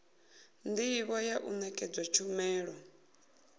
ndivho ya u nekedza tshumelo